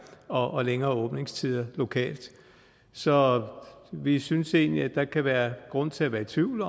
og længere åbningstider lokalt så vi synes egentlig at der kan være grund til at være i tvivl